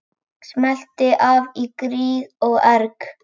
Smellti af í gríð og erg.